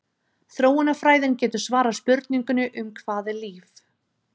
Þróunarfræðin getur svarað spurningunni um hvað er líf?